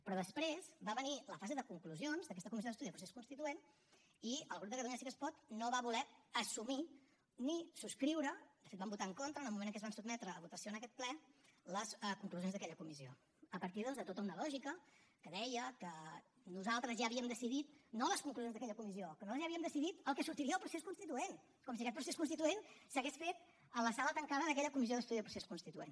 però després va venir la fase de conclusions d’aquesta comissió d’estudi del procés constituent i el grup de catalunya sí que es pot no va voler assumir ni subscriure de fet hi van votar en contra en el moment en què es van sotmetre a votació en aquest ple les conclusions d’aquella comissi a partir doncs de tota una lògica que deia que nosaltres ja havíem decidit no les conclusions d’aquella comissió que nosaltres ja havíem decidit el que sortiria del procés constituent com si aquest procés constituent s’hagués fet a la sala tancada d’aquella comissió d’estudi del procés constituent